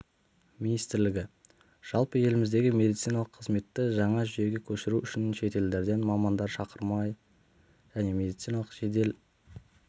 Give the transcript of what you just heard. министрлігі жалпы еліміздегі медициналық қызметті жаңа жүйеге көшіру үшін шетелдерден мамандар шақырмақ және медициналық жедел